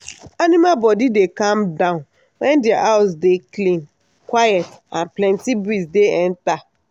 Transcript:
aminal body dey calm down when dia house dey clean quiet and plenty breeze dey enter.